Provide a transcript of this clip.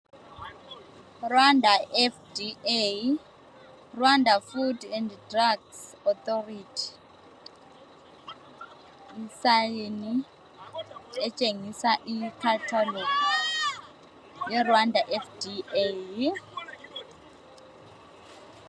Rwanda FDA Rwanda Food and Drugs Authority yibhakane etshengisa uluhlu lweRwanda FDA.